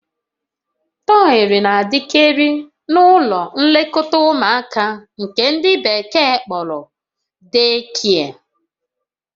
Tọyị na-adịkarị n'ụlọ nlekọta ụmụaka nke ndị Bekee kpọrọ "deekie"